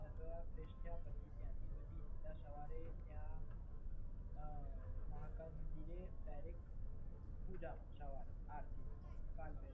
નાયા-ધોયા પછી ફ્રેશ થયા પછી ત્યાંથી પછી સીધા સવારે ત્યાં મહાકાળી મંદિરે ડાઇરેક્ટ પૂજામાં સવારે આરતીમાં